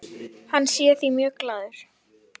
Hann sé því mjög glaður.